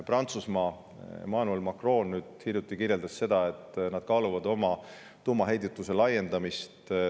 Prantsusmaa Emmanuel Macron nüüd hiljuti kirjeldas, et nad kaaluvad oma tuumaheidutuse laiendamist.